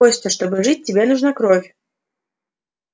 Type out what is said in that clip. костя чтобы жить тебе нужна кровь